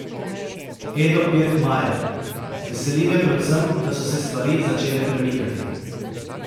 Edo Pirkmajer: "Veseli me predvsem, da so se stvari začele premikati.